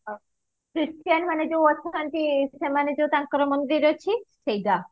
Christian ମାନେ ଯୋଉ ଅଛନ୍ତି ସେମାନେ ଯୋଉ ତାଙ୍କର ମନ୍ଦିର ଅଛି ସେଇଟା